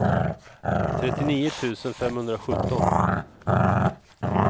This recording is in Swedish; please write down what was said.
trettionio tusen femhundrasjutton